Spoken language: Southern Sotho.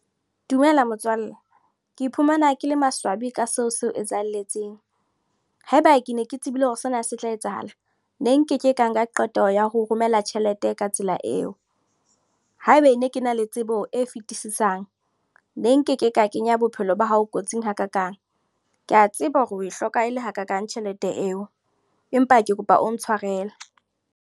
Dumela motswalle. Ke iphumana ke le maswabi ka seo seo etsahelletseng. Haeba ke ne ke tsebile hore sena se tla etsahala. Ne nkeke ka nka qeto ya ho romela tjhelete ka tsela eo. Haeba ne ke na le tsebo e fetisisang, ne nkeke ka kenya bophelo ba hao kotsing hakakang. Ke a tseba hore o e hloka e le hakakang tjhelete eo. Empa ke kopa o ntshwareleng.